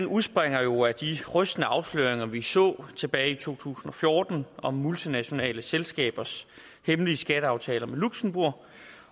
udspringer jo af de rystende afsløringer vi så tilbage i to tusind og fjorten om multinationale selskabers hemmelige skatteaftaler med luxembourg